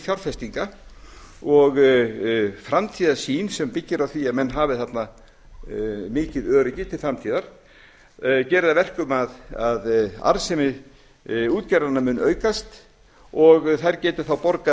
fjárfestinga og framtíðarsýn sem byggir á því að menn hafi þarna mikið öryggi til framtíðar geri það að verkum að arðsemi útgerðarinnar mun aukast og þær geti þá